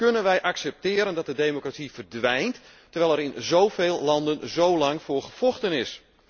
Hoe kunnen wij accepteren dat de democratie verdwijnt, terwijl er in zoveel landen zo lang voor gevochten is?